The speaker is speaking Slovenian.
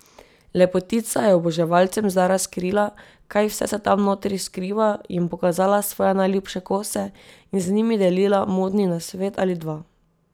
Lepotica je oboževalcem zdaj razkrila, kaj vse se tam notri skriva, jim pokazala svoje najljubše kose in z njimi delila modni nasvet ali dva.